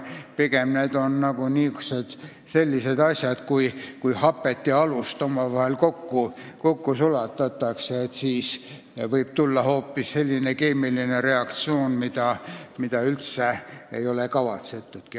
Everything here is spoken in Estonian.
Pigem on need sellised asjad, kui hapet ja alust omavahel kokku segada – siis võib tagajärjeks olla hoopis selline keemiline reaktsioon, mida üldse kavaski polnud.